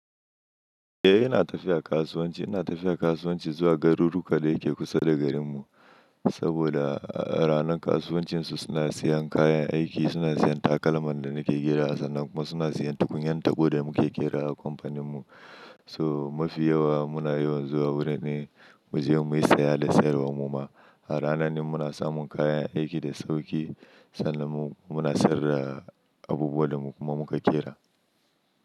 Eh ina tafiya kasuwanci, ina tafiya kasuwanci zuwa garuru ka da yake kusa da garinmu saboda a ranar kasuwancin su suna siyan kayan aiki, suna siyan takalman da nake ƙerawa sannan kuma suna siyan tukunyan taɓo da muke ƙerawa a kamfaninmu. So mafi yawa muna yawan zuwa wurin ne mu je muyi saya da sayarwar mu ma. A ranan ne muna samun kayan aiki da sauƙi, sannan muna sayar da abubuwan da mu kuma muka ƙera.